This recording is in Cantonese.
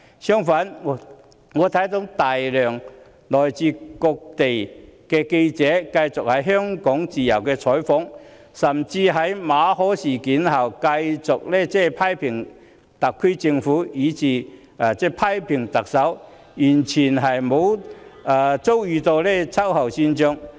相反，來自世界各地的大量記者繼續在香港自由採訪，甚至在馬凱事件後繼續批評特區政府，以至特首，但卻沒有遭受秋後算帳。